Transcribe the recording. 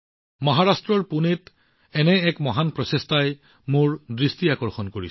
মহাৰাষ্ট্ৰৰ পুনেত এনে এক উৎকৃষ্ট প্ৰচেষ্টাই মোৰ দৃষ্টি আকৰ্ষণ কৰিছে